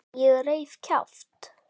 Ég reif kjaft.